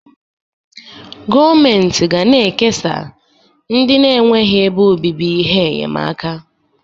gọọmentị ga na-ekesa ndị na-enweghị ebe obibi ihe enyemaka